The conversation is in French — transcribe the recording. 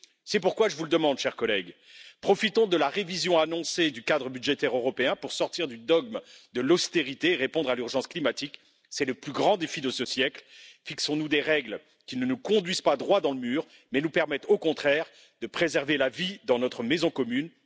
C'est pourquoi je vous le demande, chers collègues profitons de la révision annoncée du cadre budgétaire européen pour sortir du dogme de l'austérité, répondre à l'urgence climatique. C'est le plus grand défi de ce siècle fixons nous des règles qui ne nous conduisent pas droit dans le mur, mais nous permettent au contraire de préserver la vie dans notre maison commune.